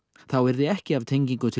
þá yrði ekki af tengingu til